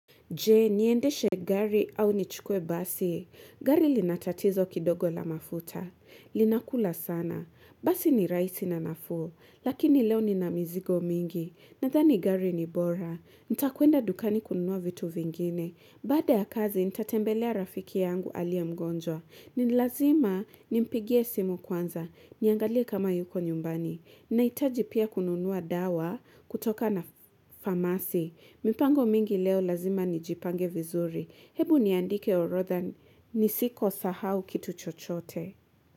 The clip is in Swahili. Je, niendeshe gari au nichukkwe basi. Gari linatatizo kidogo la mafuta. Linakula sana. Basi ni raisi na nafuo. Lakini leo ni na mizigo mingi. Nadhani gari ni bora. Nitakuenda dukani kununua vitu vingine. Baada ya kazi, nitatembelea rafiki yangu aliye mgonjwa. Nilazima nimpigie simu kwanza. Niangalie kama yuko nyumbani. Naitaji pia kununua dawa kutoka na famasi. Mipango mingi leo lazima nijipange vizuri. Hebu niandike orotha nisiko sahau kitu chochote.